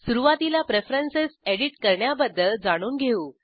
सुरूवातीला preferences edit करण्याबद्दल जाणून घेऊ